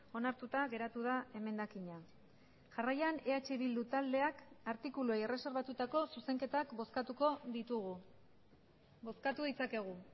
onartuta geratu da emendakina jarraian eh bildu taldeak artikuluei erreserbatutako zuzenketak bozkatuko ditugu bozkatu ditzakegu